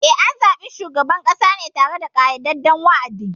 Eh, an zaɓi shugaban ƙasa ne tare da ƙayyadadden wa’adi.